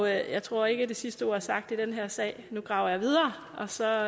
jeg tror ikke det sidste ord er sagt i den her sag nu graver jeg videre og så